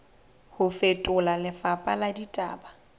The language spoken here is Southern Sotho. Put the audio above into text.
ho fetola lefapha la ditaba